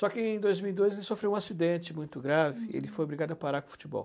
Só que em dois mil e dois ele sofreu um acidente muito grave e ele foi obrigado a parar com o futebol.